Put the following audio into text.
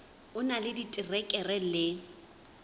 o na le diterekere le